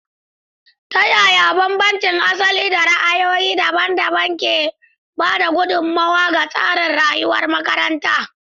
Ta yaya bambancin asali da ra'ayoyi daban-daban ke ba da gudummawa ga tsarin rayuwar makaranta?